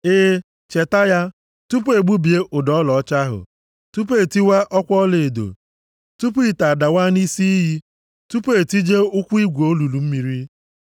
E, cheta ya, tupu e gbubie ụdọ ọlaọcha ahụ, tupu e tiwaa ọkwa ọlaedo, tupu ite adawaa nʼisi iyi, tupu e tijie ụkwụ igwe olulu mmiri.